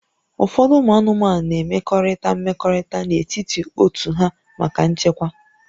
Ụfọdụ ụmụ anụmanụ na-emekọrịta mmekọrịta n'etiti otu ha maka nchekwa